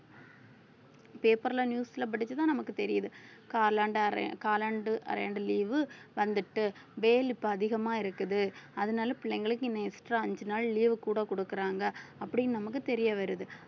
paper ல news ல படிச்சுதான் நமக்கு தெரியுது காலாண்டு அரையா~ காலாண்டு அரையாண்டு leave வந்துட்டு வெயில் இப்ப அதிகமா இருக்குது அதனால பிள்ளைங்களுக்கு extra அஞ்சு நாள் leave கூட குடுக்குறாங்க அப்படின்னு நமக்கு தெரிய வருது